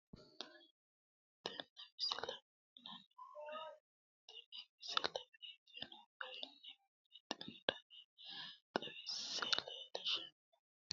tenne misile aana noorina tini misile biiffanno garinni babaxxinno daniinni xawisse leelishanori isi maati yinummoro kunni roore yanna qulaawa mine shaette woranni dararichootti